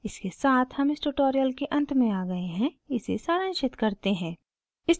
इसके साथ हम इस ट्यूटोरियल के अंत में आ गए हैं इसे सारांशित करते हैं